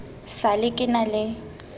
sa le ke na le